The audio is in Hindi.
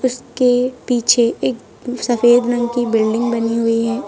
इसके पीछे एक सफेद रंग की बिल्डिंग बनी हुई है।